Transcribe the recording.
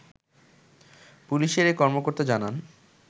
পুলিশের এ কর্মকর্তা জানান